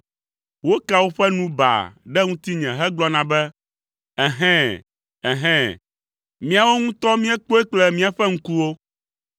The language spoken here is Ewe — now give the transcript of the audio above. Wokea woƒe nu baa ɖe ŋutinye hegblɔna be, “Ɛhɛ̃! Ɛhɛ̃! Míawo ŋutɔ míekpɔe kple míaƒe ŋkuwo.”